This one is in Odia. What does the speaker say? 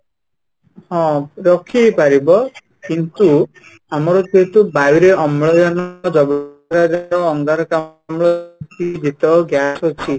ହଁ, ରୋକିହେଇପାରିବ କିନ୍ତୁ ଆମର ଯେହେତୁ ବାୟୁ ରେ ଅମ୍ଳଜାନ, ଯବକ୍ଷାରଜାନ, ଅଙ୍ଗାରକାମ୍ଳ ଯେତେ ଗ୍ୟାସ ଅଛି